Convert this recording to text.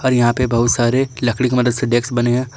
और यहां पे बहुत सारे लकड़ी की मदद से डेस्क बने है।